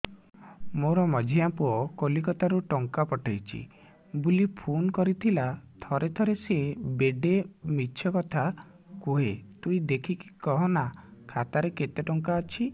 ମୋର ମଝିଆ ପୁଅ କୋଲକତା ରୁ ଟଙ୍କା ପଠେଇଚି ବୁଲି ଫୁନ କରିଥିଲା ଥରେ ଥରେ ସିଏ ବେଡେ ମିଛ କଥା କୁହେ ତୁଇ ଦେଖିକି କହନା ଖାତାରେ କେତ ଟଙ୍କା ଅଛି